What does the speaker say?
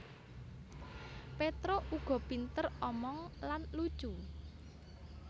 Petruk uga pinter omong lan lucu